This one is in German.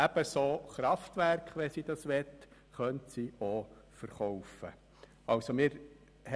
Ebenso könnte sie ihre Kraftwerke verkaufen, wenn sie möchte.